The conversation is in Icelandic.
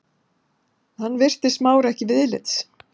Hann virti Smára ekki viðlits.